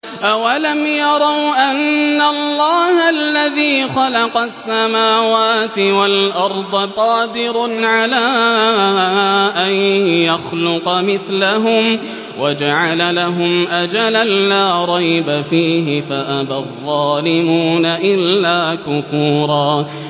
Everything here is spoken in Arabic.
۞ أَوَلَمْ يَرَوْا أَنَّ اللَّهَ الَّذِي خَلَقَ السَّمَاوَاتِ وَالْأَرْضَ قَادِرٌ عَلَىٰ أَن يَخْلُقَ مِثْلَهُمْ وَجَعَلَ لَهُمْ أَجَلًا لَّا رَيْبَ فِيهِ فَأَبَى الظَّالِمُونَ إِلَّا كُفُورًا